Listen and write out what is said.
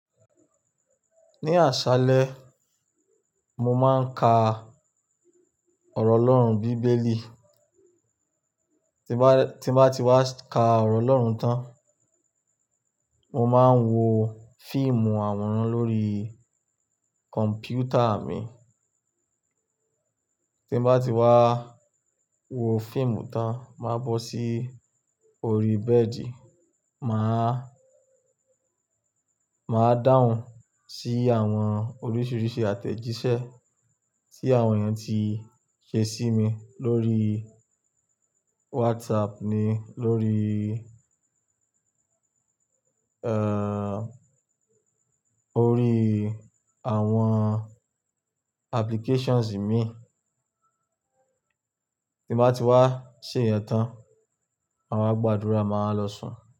Ní àṣálẹ, mo máa ń ka ọ̀rọ̀ Ọlọ́run bíbélì. Tí bá, tí bá ti wá ka ọ̀rọ̀ Ọlọ́run tán, mo máa ń wo fíìmù àwòrán lórí kọ̀m̀pútà mi. Tí bá ti wá wo fíìmù tán, máa bọ́ sí orí bẹ́ẹ̀dì, mà á, mà á dáhùn sí àwọn oríṣìíríṣìí àtẹ̀jíṣẹ́ tí àwọn ènìyàn tí ṣe sí mi lórí WhatsApp ni lórí, orí àwọn applications mi. Tí bá ti wá ṣe ìyẹn tán, àwa gbàdúrà máa lọ sùn.